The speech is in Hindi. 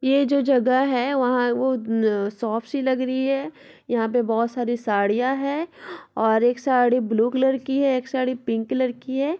ये जो जगह है जहां वहां वो शॉप सी लग रही है यहां पे बहोत सारी साड़ियां हैं और एक साड़ी ब्लू कलर की है एक साड़ी पिंक कलर की है ।